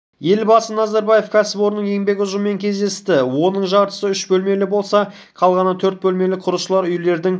елбасы назарбаев кәсіпорынның еңбек ұжымымен кездесті оның жартысы үш бөлмелі болса қалғаны төрт бөлмелі құрылысшылар үйлердің